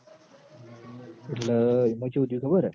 એટલ એમ ચેવું થ્યું ખબર હ